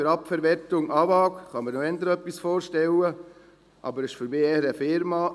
Unter «AG für Abfallverwertung AVAG» kann ich mir eher etwas vorstellen, aber für mich ist dies eher eine Firma.